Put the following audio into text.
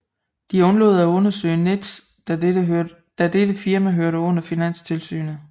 De undlod at undersøge Nets da dette firma hørte under Finanstilsynet